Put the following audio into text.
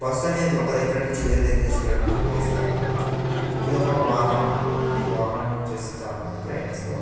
Bus అనేది ఒక దగ్గర నుంచి వేరే దగ్గరికి తీసుకెళ్లడానికి ఉపయోగిస్తారు. ఇదొక వాహనం ఈ వాహనాన్ని యూస్ చేసి చాలామంది ప్రయాణిస్తు --